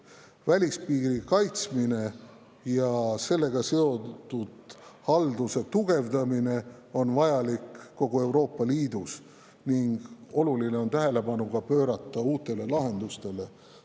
Välispiiri kaitsmine ja sellega seotud halduse tugevdamine on vajalik kogu Euroopa Liidus ning oluline on tähelepanu pöörata ka uutele lahendustele.